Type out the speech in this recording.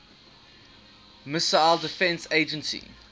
missile defense agency